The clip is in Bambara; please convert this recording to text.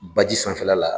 Baji sanfɛla la